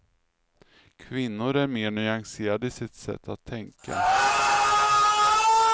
Kvinnor är mer nyanserade i sitt sätt att tänka.